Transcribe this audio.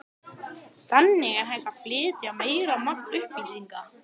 Allt einsog blómstrið eina.